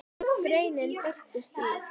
Greinin birtist í